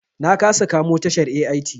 Na kasa kamo tashar AIT.